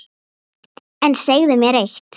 En segðu mér eitt